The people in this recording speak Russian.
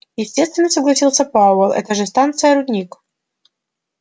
естественно согласился пауэлл это же станция-рудник